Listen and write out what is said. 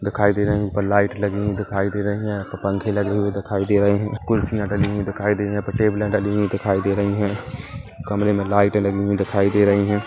--दिखाई दे रही ऊपर लाइट लगी दिखाई दे रही है क पंखे लगे हुए दिखाई दे रहे हैं कुर्सियां डली हुए दिखाई दे रहे हैं टेबले डली हुई दिखाई दे रही है कमरे मे लाइटे लगी हुई दिखाई दे रही हैं।